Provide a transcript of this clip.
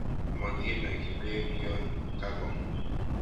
Mokinoki beek yon kakong'.